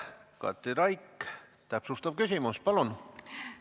Katri Raik, täpsustav küsimus, palun!